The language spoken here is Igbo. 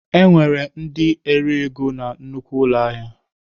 Enwere ndị na-ere ego na nnukwu ụlọ ahịa.